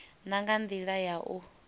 na nga ndila ya u